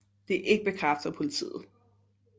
Det er ikke bekræftet af politiet